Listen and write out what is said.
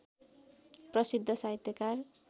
प्रसिद्ध साहित्यकार